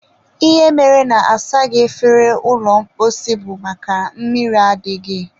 ihe mere na-asaghị efere ụlọ mposi bụ makana mmiri adịghị.